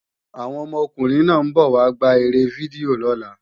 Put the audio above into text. Àwọn ọmọkùnrin náà ń bọ̀ wá gbá eré fídíò lọ́la